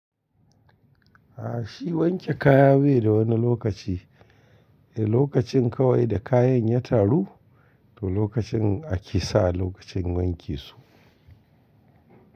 A shi wanke kaya bai da wani lokaci, eh lokacin kawai da kayan ya taru to lokacin ake sa lokacin wanke su.